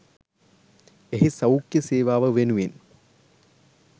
එහි සෞඛ්‍ය සේවාව වෙනුවෙන්